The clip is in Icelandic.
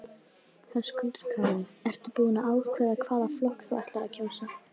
Höskuldur Kári: Ertu búin að ákveða hvaða flokk þú ætlar að kjósa?